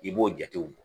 I b'o jatew bɔ